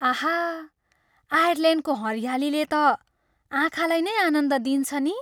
आहा! आयरल्यान्डको हरियालीले त आँखालाई नै आनन्द दिन्छ नि?